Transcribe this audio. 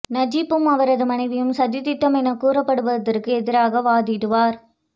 நஜிப்பும் அவரது மனைவியும் சதித் திட்டம் எனக் கூறப்படுவதற்கு எதிராக வாதிடுவர்